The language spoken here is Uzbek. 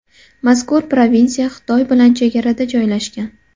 Mazkur provinsiya Xitoy bilan chegarada joylashgan.